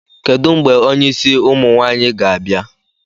Kedu mgbe onye isi ụmụ nwaanyịga-abịa?